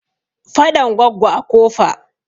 Faɗan Goggo a Kofa.